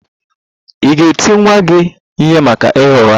Ị̀ ga-eti nwa gị ihe maka ịgha ụgha?